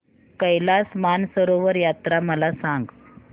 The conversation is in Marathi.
कैलास मानसरोवर यात्रा मला सांग